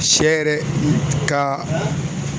Sɛ yɛrɛ ka